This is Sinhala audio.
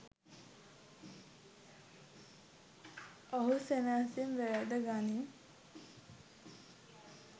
ඔහු සෙනෙහසින් වැළඳ ගනියි